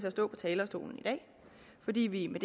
at stå på talerstolen i dag fordi vi med